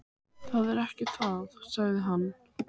Það er ekki það, sagði hann.